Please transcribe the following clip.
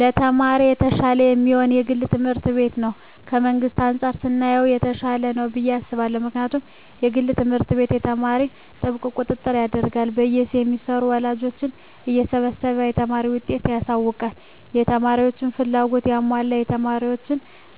ለተማሪ የተሻለ የሚሆነዉ የግል ትምህርት ቤት ነዉ ከመንግስት አንፃር ስናየዉ የተሻለ ነዉ ብየ አስባለሁ ምክንያቱም የግል ትምህርት ቤት ለተማሪዎች ጥብቅ ቁጥጥር ያደርጋሉ በየ ሴምስተሩ ወላጆችን እየሰበሰቡ የተማሪን ዉጤት ያሳዉቃሉ ለተማሪዎችም ፍላጎታቸዉን ያሟላሉ ተማሪዎች